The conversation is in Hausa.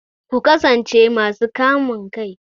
Ku kasance masu kamun kai!